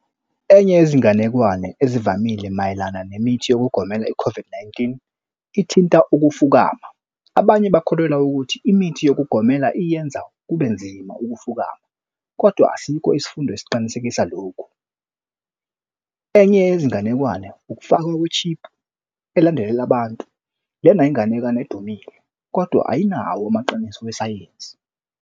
Enye yezinganekwane ezivamile mayelana nemithi yokugomela i-COVID-19 ithinta ukufukama. Abanye bakholelwa ukuthi imithi yokugomela iyenza kube nzima ukufukama kodwa asikho isifundo esiqinisekisa lokhu. Enye yezinganekwane ukufakwa kwe-chip elandelela abantu. Lena inganekane edumile kodwa ayinawo amaqiniso wesayensi.